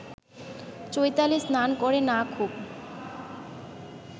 চৈতালি স্নান করে না খুব